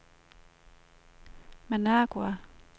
Managua